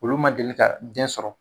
Olu ma deli ka den sɔrɔ